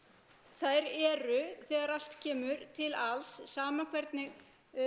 þær eru þegar allt kemur til alls sama hvernig